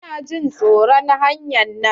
Ina jin tsoro hanyar nan.